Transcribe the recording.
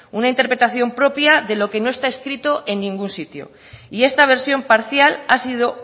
una interpretación propia de lo que no está escrito en ningún sitio y esta versión parcial ha sido